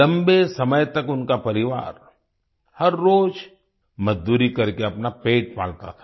लंबे समय तक उनका परिवार हर रोज मजदूरी करके अपना पेट पालता था